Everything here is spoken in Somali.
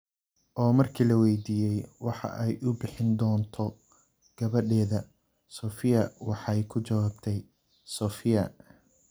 Oo markii la weydiiyay waxa ay u bixin doonto gabadheeda, Sofiya waxay ku jawaabtay: ''Sofiya''.